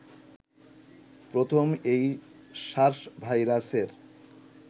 প্রথম এই সার্স ভাইরাসের